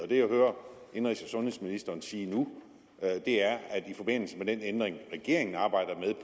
det jeg hører indenrigs og sundhedsministeren sige nu er at i forbindelse med den ændring regeringen arbejder